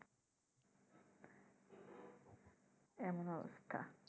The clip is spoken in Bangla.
এমন অবস্থা